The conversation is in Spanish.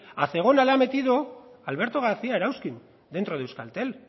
a zegona le ha metido alberto garcía erauzkin dentro de euskaltel